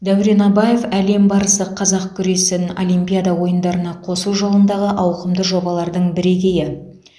дәурен абаев әлем барысы қазақ күресін олимпиада ойындарына қосу жолындағы ауқымды жобалардың бірегейі